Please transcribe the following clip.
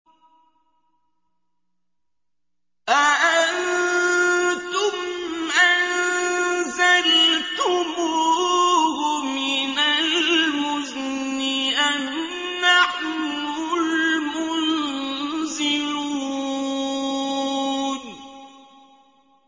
أَأَنتُمْ أَنزَلْتُمُوهُ مِنَ الْمُزْنِ أَمْ نَحْنُ الْمُنزِلُونَ